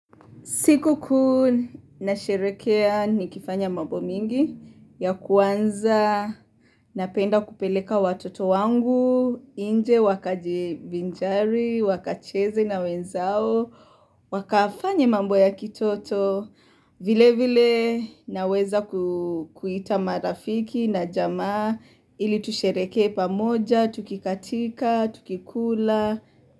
Siku ku nasherekea ni kifanya mambo mingi ya kuanza, napenda kupeleka watoto wangu, inje wakajivinjari, wakacheze na wenzao, wakafanye mambo ya kitoto, vile vile naweza kuita marafiki na jamaa ili tusherekea pamoja, tukikatika, tukikula.